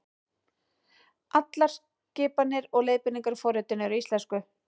Allar skipanir og leiðbeiningar í forritinu eru á íslensku.